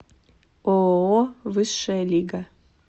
ооо высшая лига